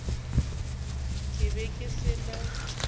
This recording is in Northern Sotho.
ke be ke se na